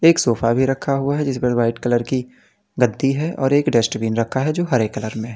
एक सोफा भी रखा हुआ हैं जिसपर व्हाईट कलर की गद्दी है और एक डस्टबिन रखा है जो हरे कलर में--